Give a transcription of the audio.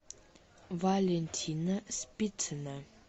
валентина спицына